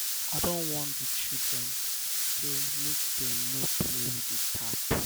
i don warn di children sey make dem no dey play with di tap.